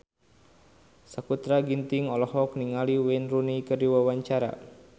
Sakutra Ginting olohok ningali Wayne Rooney keur diwawancara